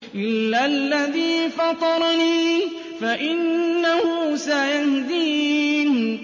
إِلَّا الَّذِي فَطَرَنِي فَإِنَّهُ سَيَهْدِينِ